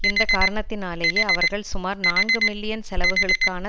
இந்த காரணத்தினாலேயே அவர்கள் சுமார் நான்கு மில்லியன் செலவுகளுக்கான